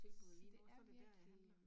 Så det er virkelig